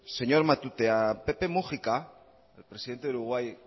señor matute a pepe mujica presidente de uruguay